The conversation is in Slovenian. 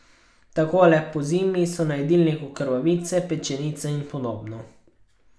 Takole pozimi so na jedilniku krvavice, pečenice in podobno.